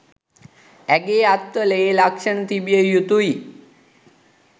ඇගේ අත්වල ඒ ලක්ෂන තිබිය යුතුයි